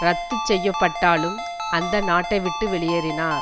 இரத்து செய்யப்பட்டாலும் அந்த நாட்டை விட்டு வெளியேறினார்